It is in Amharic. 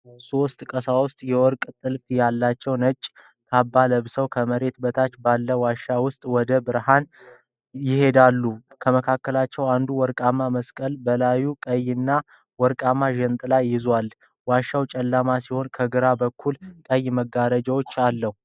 ሦስት ቀሳውስት የወርቅ ጥልፍ ያላቸው ነጭ ካባ ለብሰው ከመሬት በታች ባለው ዋሻ ውስጥ ወደ ብርሃን ይሄዳሉ። ከመካከላቸው አንዱ ወርቃማ መስቀልና በላዩ ቀይና ወርቃማ ጃንጥላ ይዟል። ዋሻው ጨለማ ሲሆን፣ ከግራ በኩል ቀይ መጋረጃዎች አለው።